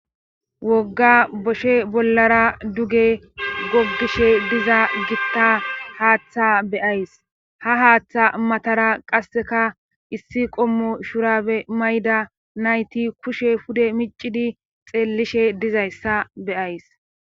Wogga boshe bollara duge goggishe diza gitta haaththa beyays ha haaththa matara qasseka issi qommo shurabe mayda nayti kushe pude miccidi xeellishe dizayssa beyays.